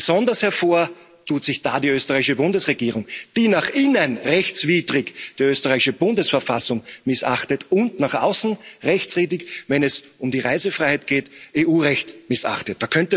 Besonders hervor tut sich da die österreichische Bundesregierung, die nach innen rechtswidrig die österreichische Bundesverfassung missachtet und nach außen rechtswidrig, wenn es um die Reisefreiheit geht, EU Recht missachtet.